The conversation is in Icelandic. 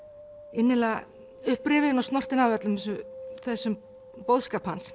innilega upprifin og snortin af þessum boðskap hans